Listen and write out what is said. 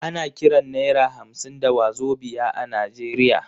Ana kiran naira hamsin da wazobia a Najeriya.